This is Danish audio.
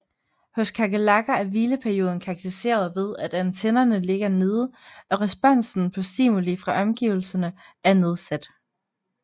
Hos kakerlakker er hvileperioden karakteriseret ved at antennerne ligger nede og responsen på stimuli fra omgivelsene er nedsat